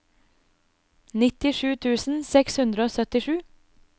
nittisju tusen seks hundre og syttisju